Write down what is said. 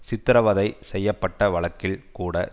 சித்திரவதை செய்ய பட்ட வழக்கில் கூட